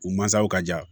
U mansaw ka ja